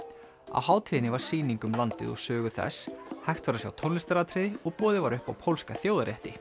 á hátíðinni var sýning um landið og sögu þess hægt var að sjá tónlistaratriði og boðið var upp á pólska þjóðarrétti